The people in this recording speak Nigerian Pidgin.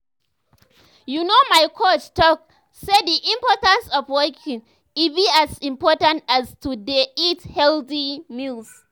you know my coach talk say the importance of walking e be as important as to dey eat healthy meals.